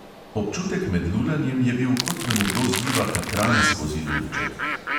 Občutek med lulanjem je bil, kot da mu kdo zliva katran skozi lulček.